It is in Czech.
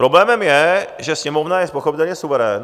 Problémem je, že Sněmovna je pochopitelně suverén.